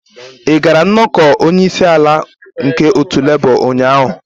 Ị gara nnọkọ onye isi ala nke otu Labour ụnyaahụ?